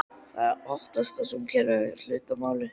Ég óttast að hún kunni að eiga hlut að máli.